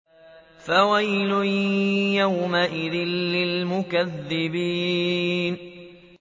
فَوَيْلٌ يَوْمَئِذٍ لِّلْمُكَذِّبِينَ